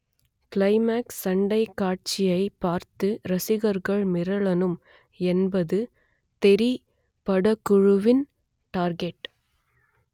climax சண்டைக் காட்சியை பார்த்து ரசிகர்கள் மிரளணும் என்பது தெறி படக்குழுவின் டார்கெட்